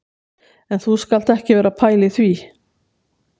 En þú skalt ekki vera að pæla í því